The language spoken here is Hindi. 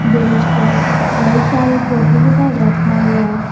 बेन्च पर कई सारे कॉपी किताब रखा हुआ है।